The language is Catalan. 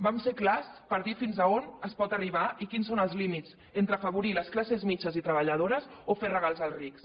vam ser clars per dir fins on es pot arribar i quins són els límits entre afavorir les classes mitjanes i treballadores o fer regals als rics